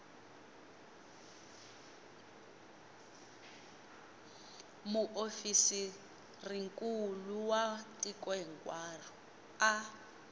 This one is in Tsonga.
muofisirinkulu wa tiko hinkwaro a